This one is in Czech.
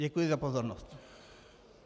Děkuji za pozornost.